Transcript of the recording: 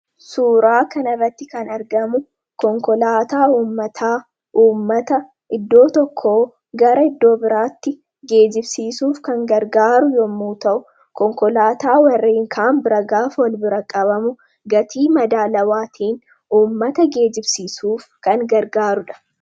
suuraa kanarratti kan argamu konkolaataa ummataa uummata iddoo tokko gara iddoo biraatti geejibsiisuuf kan gargaaru yommuu ta'u konkolaataa warreenkaan biragaafa wal bira qabamu gatii madaalawaatiin ummata geejibsiisuuf kan gargaarudha